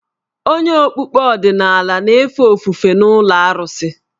Onye okpukpe ọdịnala na-efe ofufe n’ụlọ arụsị.